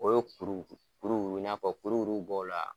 O y'o kuru, kuru kuru i n'a fɔ kuru kuru bɔ o la